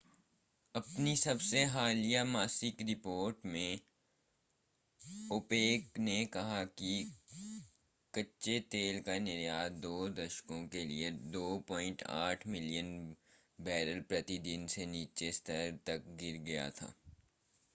अपनी सबसे हालिया मासिक रिपोर्ट में ओपेक ने कहा कि कच्चे तेल का निर्यात दो दशकों के लिए 2.8 मिलियन बैरल प्रति दिन के निचले स्तर तक गिर गया था